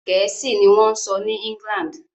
Gẹ̀ẹ́sì ni wọ́n ń sọ ní England.